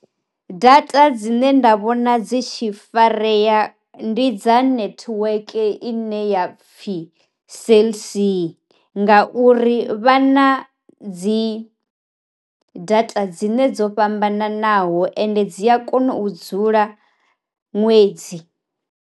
Data dzine nda vhona dzi tshi fareya ndi dza netiweke ine ya pfhi cellc nga uri vhana dzi data dzine dzo fhambananaho ende dzi a kona u dzula ṅwedzi.